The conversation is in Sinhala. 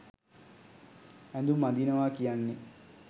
ඇඳුම් අඳිනවා කියන්නේ